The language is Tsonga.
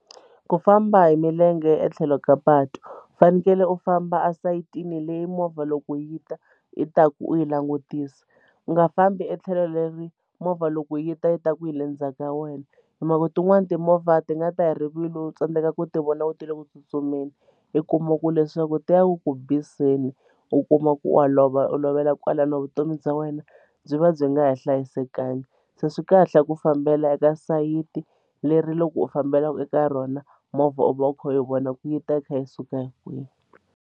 Ku famba hi milenge etlhelo ka patu u fanekele u famba esayitini leyi movha loko yi ta yi ta ku u yi langutisa u nga fambi etlhelo leri movha loko yi ta yi ta ku hi le ndzhaku ka wena hi mhaka tin'wani timovha ti nga ta hi rivilo u tsandzeka ku ti vona ku ti le ku tsutsumeni u kuma ku leswaku ti ya ku ku biseni u kuma ku wa olova u lovela kwalano vutomi bya wena byi va byi nga ha hlayisekanga se swi kahle ku fambela eka sayiti leri loko u fambela eka rona movha u va u kha u vona ku yi ta yi kha yi suka hi kwihi.